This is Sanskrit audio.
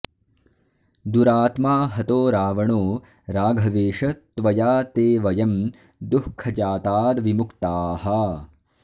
दुरात्मा हतो रावणो राघवेश त्वया ते वयं दुःखजाताद्विमुक्ताः